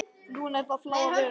Núna er það Fláa veröld.